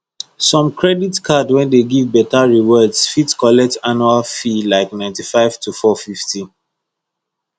some credit card wey give better rewards fit collect annual fee like ninty-five to four fifty